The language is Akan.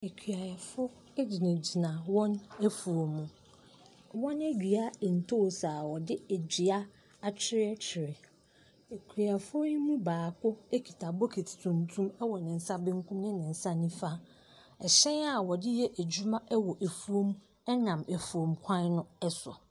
Akuafoɔ gyinagyina wɔn afuom. Wɔadua ntoosi a wɔde dua atweretwere. Akuafoɔ yi mu baako kita bokiti tuntum wɔ ne nsa benkum ne ne nsa nifa. Ɛhyɛn a wɔde yɛ adwuma wɔ afuom nam afuom kwan so.